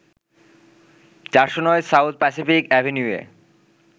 ৪০৯ South Pacific অ্যাভিনিউয়ে